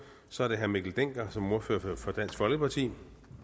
så er det herre mikkel dencker som ordfører for dansk folkeparti